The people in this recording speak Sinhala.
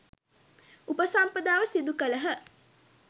උපසම්පදාව සිදු කළහ.